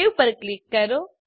save પર click કરો